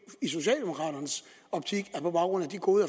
i socialdemokraternes optik er på baggrund af de gode